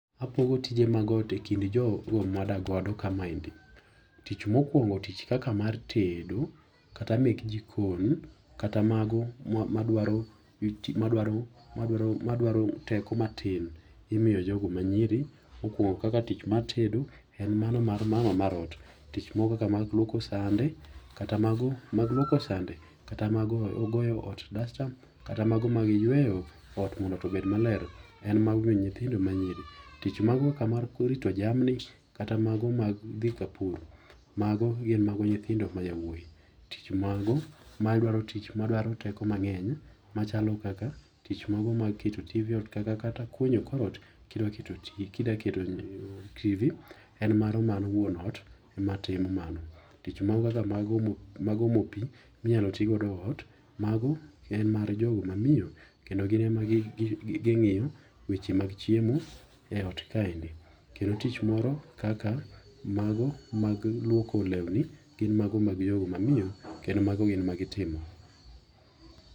Apogo tije mag ot e kind jogo mawadak godo kama endi. Tich mokwongo tich kaka mar tedo kata mek jikon kata mag, madwaro teko matin imiyo jogo manyiri. mokwongo tich mar tedo en mar mama mar ot. Tich moro kaka mar lwoko sende, kata mago mag goyo dasta kata mago mag yweyo ot obed maler en mago mag nyithindo manyiri. Tich mago ka mar rito jamni, kata mago mag dhi kapur mago mag nyithindo ma jowuoyi. Tich mago madwaro tich, madwaro teko mang'eny machalo kaka keto [cs[tv e ot kata kunyo kor ot ka idwaro keto tv en mano mar wuon ot ema timo mano. Tich moro kaka mag omo pi minyalo ti godo e ot en mano mar jogo mamiyo kendo gin ema ging'iyo weche mag chiemo e ot kaendi, kendo tich moko kaka mago mag lwoko lewni gin mago mag jogo mamiyo kendo mago gin magi timo.